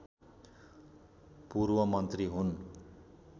पूर्वमन्त्री हुन्